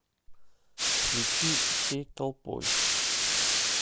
включи всей толпой